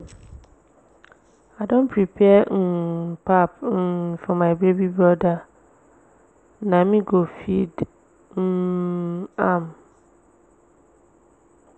i don prepare um pap um for my baby broda na me go feed um am.